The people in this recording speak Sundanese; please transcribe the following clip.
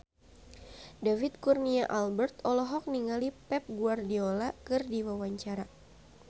David Kurnia Albert olohok ningali Pep Guardiola keur diwawancara